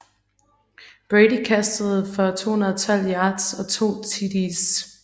Brady kastede for 212 yards og 2 TDs